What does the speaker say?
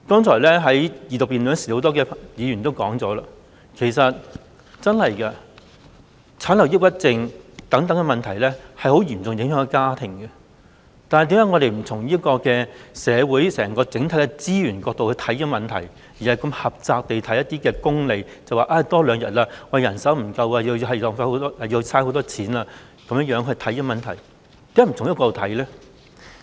有多位議員剛才在二讀辯論時已提到，產後抑鬱症等問題會嚴重影響家庭，但我們為何不從社會整體資源這個角度來檢視這問題，而是如此狹窄地從功利的角度來看待問題，例如侍產假多了2天，便會造成人手不足、僱主要花很多錢等？